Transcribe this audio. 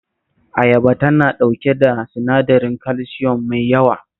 Ayaba tana ɗauke da sinadarin kalsiyom mai yawa